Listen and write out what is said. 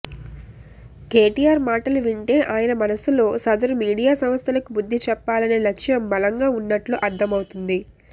కేటిఆర్ మాటలు వింటే ఆయన మనసులో సదరు మీడియా సంస్థలకు బుద్ది చెప్పాలనే లక్ష్యం బలంగా ఉన్నట్టు అర్థమైపోతోంది